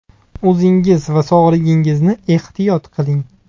O‘zingiz va sog‘lig‘ingizni ehtiyot qiling!